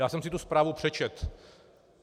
Já jsem si tu zprávu přečetl.